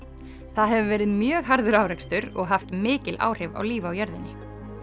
það hefur verið mjög harður árekstur og haft mikil áhrif á líf á jörðinni